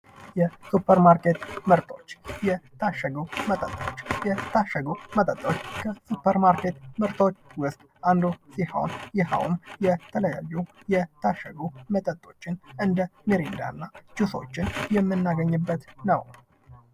የሱፐርማርኬት ምርቶች የታሸጉ መጠጦች። የታሸጉ መጠጦች ከ ሱፐር ማርኬት ምርቶች ውስጥ አንዱ ሲሆን ይኸውም የተለያዩ የታሸጉ መጠጦችን እንደ ሚሪንዳ እና ጁሶችን የምናገኝበት ነው።